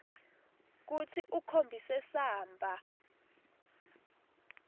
kutsi ukhombise samba